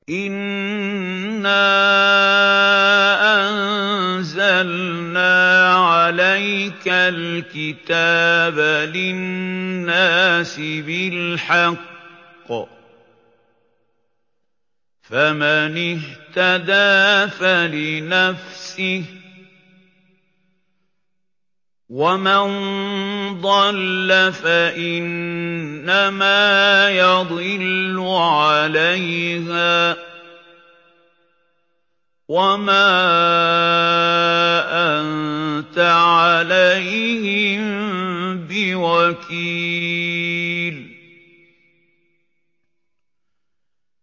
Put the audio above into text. إِنَّا أَنزَلْنَا عَلَيْكَ الْكِتَابَ لِلنَّاسِ بِالْحَقِّ ۖ فَمَنِ اهْتَدَىٰ فَلِنَفْسِهِ ۖ وَمَن ضَلَّ فَإِنَّمَا يَضِلُّ عَلَيْهَا ۖ وَمَا أَنتَ عَلَيْهِم بِوَكِيلٍ